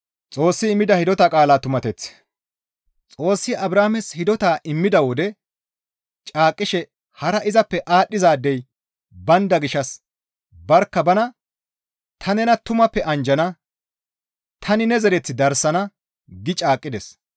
Xoossi Abrahaames hidota immida wode caaqqishe hara izappe aadhdhizaadey baynda gishshas barkka banan, «Ta nena tumappe anjjana; tani ne zereth darsana» gi caaqqides.